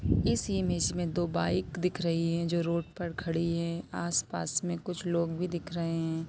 इस इमेज मे दो बाइक दिख रही है जो रोड पर खड़ी है आस-पास मे कुछ लोग भी दिख रहे हैं।